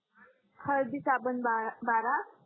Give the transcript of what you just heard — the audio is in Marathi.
हळदी साबण बारा